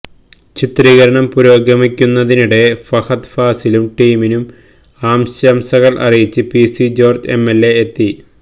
ചിത്രീകരണം പുരോഗമിക്കുന്നതിനിടെ ഫഹദ് ഫാസിലിനും ടീമിനും ആശംസകള് അറിയിച്ച് പിസി ജോര്ജ് എംഎല്എ എത്തി